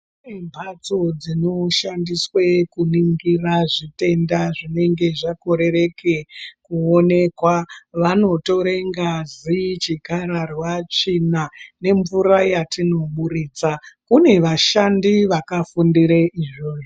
Kune mbatso dzinoshandiswe kuningira zvitenda zvinenge zvakorereke kuonekwa, vanotore ngazi, chikararwa, tsvina nemvura yatinoburitsa, kune vashandi vakafundire izvozvo.